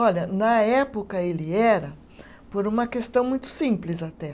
Olha, na época ele era por uma questão muito simples até.